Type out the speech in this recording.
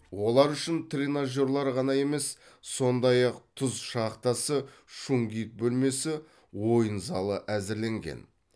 олар үшін тренажерлер ғана емес сондай ақ тұз шахтасы шунгит бөлмесі ойын залы әзірленген